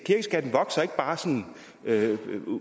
bare sådan